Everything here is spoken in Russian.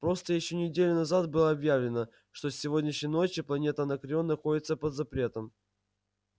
просто ещё неделю назад было объявлено что с сегодняшней ночи планета анакреон находится под запретом